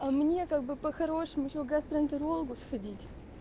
а мне как бы по-хорошему ещё гастроэнтерологу сходить